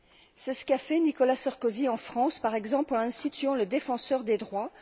C'est ce qu'a fait Nicolas Sarkozy en France, par exemple, en instituant le défenseur des droits.